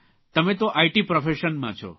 તમે તો આઇટી પ્રોફેશનમાં છો